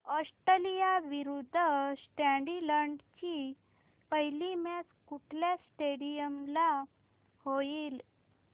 Australia विरुद्ध Scotland ची पहिली मॅच कुठल्या स्टेडीयम ला होईल